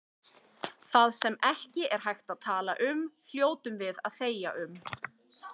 Það sem ekki er hægt að tala um hljótum við að þegja um.